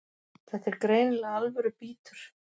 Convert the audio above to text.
Þetta er greinilega alvöru bítur